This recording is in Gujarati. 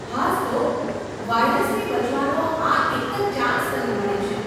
હાજ તો, વાઈરાસથી બચવાનો આ એક જ ચાંસ તને મળે છે.